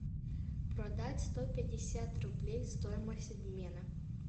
продать сто пятьдесят рублей стоимость обмена